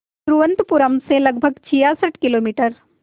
तिरुवनंतपुरम से लगभग छियासठ किलोमीटर